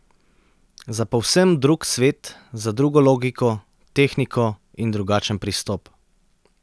Za povsem drug svet, za drugo logiko, tehniko in drugačen pristop.